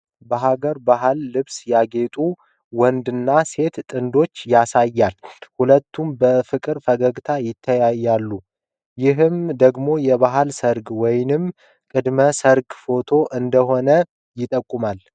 በሐገር ባህል ልብስ ያጌጡ ወንድና ሴት ጥንዶችን ያሳያል። ሁለቱም በፍቅር ፈገግታ ተያይተዋል፤ ይህ ደግሞ የባህል ሰርግ ወይም ቅድመ-ሰርግ ፎቶ እንደሆነ ይጠቁማል።